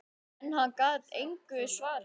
En hann gat engu svarað.